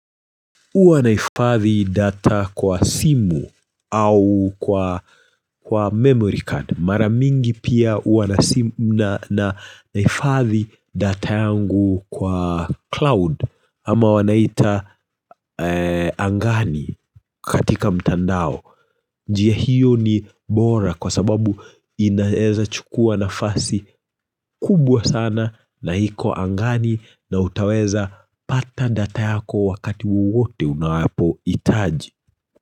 Uwa nahifadhi data kwa simu au kwa memory card. Maramingi pia uwa nahifadhi data yangu kwa cloud ama wanaita angani katika mtandao. Njia hiyo ni bora kwa sababu inaeza chukua na fasi kubwa sana na iko angani na utaweza pata data yako wakati wote unawapohitaji.